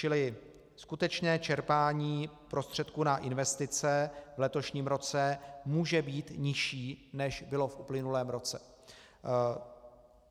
Čili skutečné čerpání prostředků na investice v letošním roce může být nižší, než bylo v uplynulém roce.